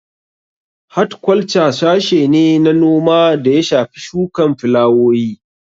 Hatkwalca sashe ne na noma da ya shafi shukan filawowi